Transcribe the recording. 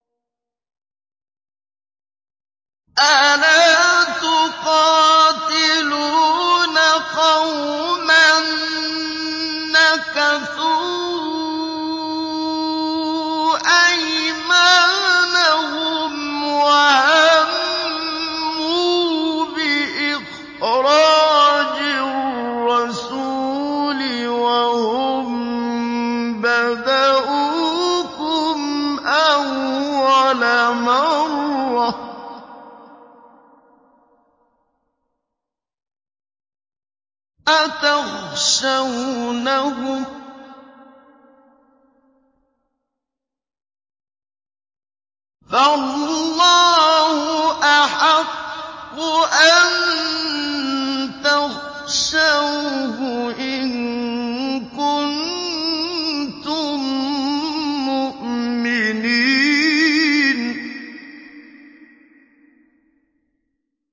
أَلَا تُقَاتِلُونَ قَوْمًا نَّكَثُوا أَيْمَانَهُمْ وَهَمُّوا بِإِخْرَاجِ الرَّسُولِ وَهُم بَدَءُوكُمْ أَوَّلَ مَرَّةٍ ۚ أَتَخْشَوْنَهُمْ ۚ فَاللَّهُ أَحَقُّ أَن تَخْشَوْهُ إِن كُنتُم مُّؤْمِنِينَ